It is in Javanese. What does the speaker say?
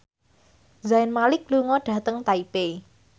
Zayn Malik lunga dhateng Taipei